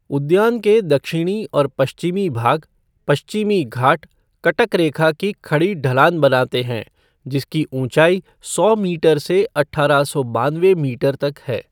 उद्यान के दक्षिणी और पश्चिमी भाग, पश्चिमी घाट कटक रेखा की खड़ी ढलान बनाते हैं, जिसकी ऊँचाई सौ मीटर से अठारह सौ बानवे मीटर तक है।